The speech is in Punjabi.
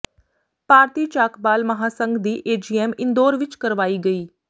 ਭਾਰਤੀ ਚਾਕਬਾਲ ਮਹਾਂਸੰਘ ਦੀ ਏਜੀਐੱਮ ਇੰਦੌਰ ਵਿੱਚ ਕਰਵਾਈ ਗਈ